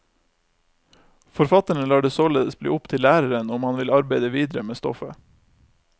Forfatterne lar det således bli opp til læreren om han vil arbeide videre med stoffet.